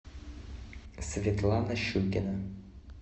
светлана щукина